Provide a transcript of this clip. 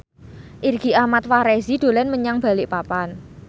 Irgi Ahmad Fahrezi dolan menyang Balikpapan